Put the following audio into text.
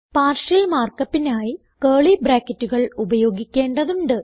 partial markupനായി curly ബ്രാക്കറ്റുകൾ ഉപയോഗിക്കേണ്ടതുണ്ട്